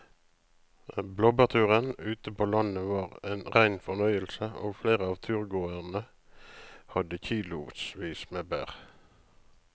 Blåbærturen ute på landet var en rein fornøyelse og flere av turgåerene hadde kilosvis med bær.